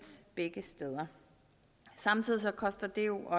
begge steder samtidig koster det jo